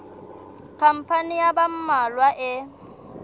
khampani ya ba mmalwa e